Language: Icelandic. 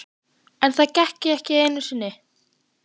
En það gekk ekki einu sinni.